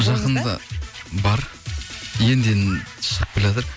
жақында бар енді енді шығып келеатыр